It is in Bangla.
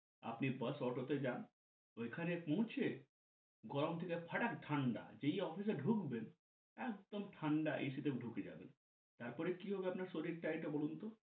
আপনি বাস অটোতে যান ঐখানে পৌছে গরম থেকে ফাটাক ঠান্ডা যেই আফিসে ডুকবেন একদম ঠান্ডা এসিতে ডুকে যাবেন । তারপর কি হবে আপনার শরীরটা এটা বলুনতো